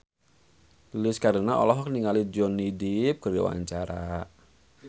Lilis Karlina olohok ningali Johnny Depp keur diwawancara